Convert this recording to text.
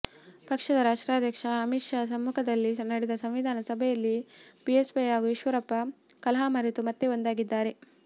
ಪಕ್ಷದ ರಾಷ್ಟ್ರಾಧ್ಯಕ್ಷ ಅಮಿತ್ ಶಾ ಸಮ್ಮುಖದಲ್ಲಿ ನಡೆದ ಸಂಧಾನ ಸಭೆಯಲ್ಲಿ ಬಿಎಸ್ವೈ ಹಾಗೂ ಈಶ್ವರಪ್ಪ ಕಲಹ ಮರೆತು ಮತ್ತೆ ಒಂದಾಗಿದ್ದಾರೆ